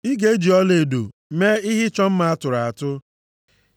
Ị ga-eji ọlaedo mee ihe ịchọ mma a tụrụ atụ.